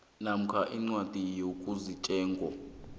namkha umngcwabi ogunyaziweko